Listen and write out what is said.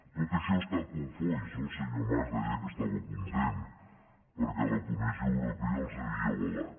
tot i això estan cofois no el senyor mas deia que estava content perquè la comissió europea els havia avalat